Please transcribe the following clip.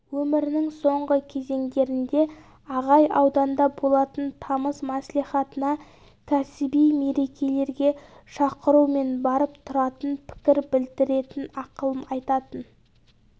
өмірінің соңғы кезеңдерінде ағай ауданда болатын тамыз мәслихатына кәсіби мерекелерге шақырумен барып тұратын пікір білдіретін ақылын айтатын